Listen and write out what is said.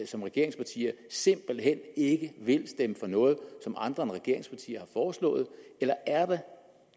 som regeringsparti simpelt hen ikke vil stemme for noget som andre end regeringspartierne har foreslået eller er der